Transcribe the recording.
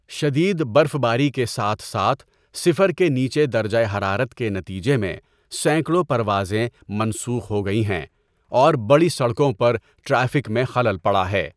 شدید برفباری کے ساتھ ساتھ صفر کے نیچے درجہ حرارت کے نتیجے میں سینکڑوں پروازیں منسوخ ہو گئی ہیں اور بڑی سڑکوں پر ٹریفک میں خلل پڑا ہے۔